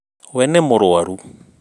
wee nĩ mũrũaru